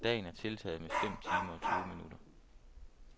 Dagen er tiltaget med fem timer og tyve minutter.